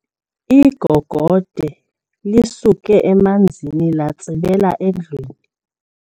Igogode lisuke emanzini latsibela endlwini.